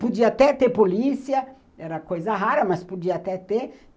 Podia até ter polícia, era coisa rara, mas podia até ter.